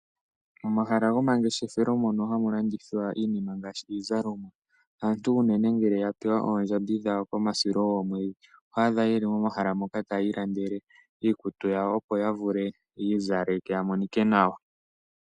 Momahala gomangeshefelo mono hamu landithilwa iinima ngaashi iizalomwa . Aantu ngele yapewa ondjambi dhawo dhokomwedhi oto adha yeli momahala moka tayiilandele iikutu yawo opo ya zale ya monike nawa